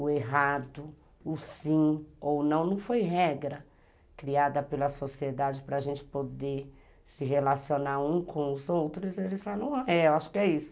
o errado, o sim ou o não, não foi regra criada pela sociedade para a gente poder se relacionar um com os outros, eles falaram, é, acho que é isso.